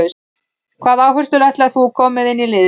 Hvaða áherslur ætlar þú koma með inn í liðið?